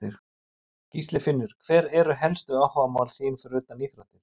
Gísli Finnur Hver eru helstu áhugamál þín fyrir utan íþróttir?